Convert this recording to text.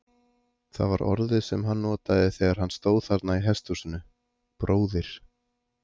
Það var orðið sem hann notaði þegar hann stóð þarna í hesthúsinu: bróðir.